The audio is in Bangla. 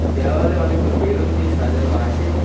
দেওয়ালে অনেকগুলো বেলুন দিয়ে সাজানো আছে।